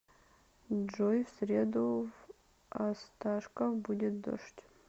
джой в среду в осташков будет дождь